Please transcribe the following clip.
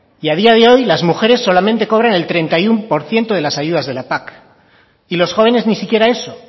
a día de hoy las mujeres solamente cobran el treinta y uno por ciento de las ayudas de la pac y los jóvenes ni si quiera eso